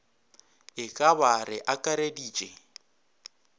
e ka ba re akareditše